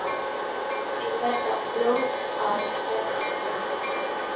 Þau verða fljót að þorna.